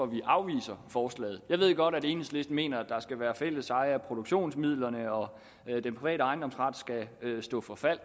vi afviser forslaget jeg ved godt at enhedslisten mener der skal være fælles eje af produktionsmidlerne og at den private ejendomsret skal stå for fald